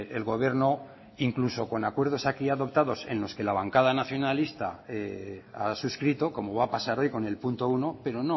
el gobierno incluso con acuerdos aquí adoptados en los que la bancada nacionalista a suscrito como va a pasar hoy con el punto uno pero